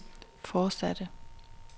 fortsatte